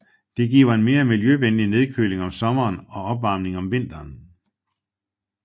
Det giver en mere miljøvenlig nedkøling om sommeren og opvarmning om vinteren